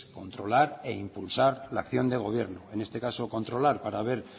controlar e impulsar la acción del gobierno en este caso controlar para ver